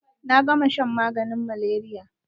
Na gama shan maganin malaria.